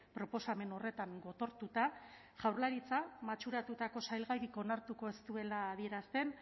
proposamen horretan gotortuta jaurlaritza matxuratutako salgairik onartuko ez duela adierazten